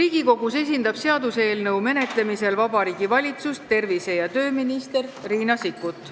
Seaduseelnõu menetlemisel Riigikogus esindab Vabariigi Valitsust tervise- ja tööminister Riina Sikkut.